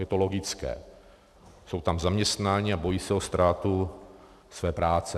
Je to logické, jsou tam zaměstnáni a bojí se o ztrátu své práce.